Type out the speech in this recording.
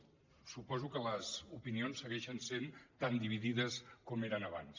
escolti’m suposo que les opinions segueixen sent tan dividides com eren abans